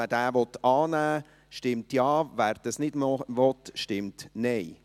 Wer diesen annehmen will, stimmt Ja, wer dies nicht will, stimmt Nein.